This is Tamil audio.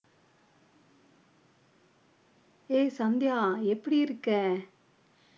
ஏய் சந்தியா எப்படி இருக்க